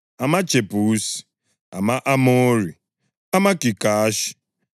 amaJebusi, ama-Amori, amaGigashi,